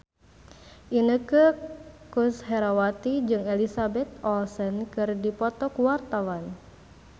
Inneke Koesherawati jeung Elizabeth Olsen keur dipoto ku wartawan